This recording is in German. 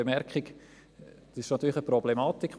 Was angesprochen wurde, ist natürlich eine Problematik.